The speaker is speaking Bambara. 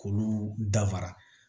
K'olu dafara